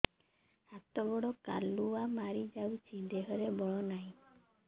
ହାତ ଗୋଡ଼ କାଲୁଆ ମାରି ଯାଉଛି ଦେହରେ ବଳ ନାହିଁ